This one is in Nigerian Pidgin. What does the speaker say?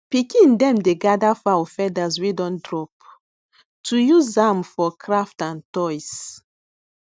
pikin dem dey gather fowl feathers wey don drop to use am for craft and toys